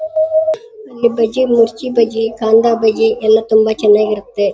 ಇಲ್ಲಿ ಬಜ್ಜಿ ಮಿರ್ಚಿ ಬಜ್ಜಿ ಕಂದಾ ಬಜಿ ತುಂಬಾ ಚೆನ್ನಾಗಿ ಇರುತ್ತೆ.